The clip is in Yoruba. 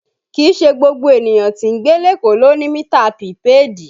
Kìí ṣe gbogbo ènìyàn tí ń gbé lékòó ló ń lo mità pìpèéèdì